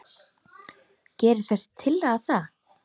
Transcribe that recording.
Gerir þessi tillaga það?